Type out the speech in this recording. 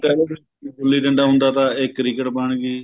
ਪਹਿਲਾਂ ਤਾਂ ਗੁੱਲੀ ਡੰਡਾ ਹੁੰਦਾ ਤਾ ਇੱਕ cricket ਬਣਗੀ